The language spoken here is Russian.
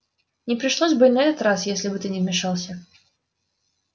не пришлось бы и на этот раз если бы ты не вмешался